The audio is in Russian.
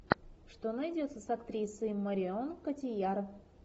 что найдется с актрисой марион котийяр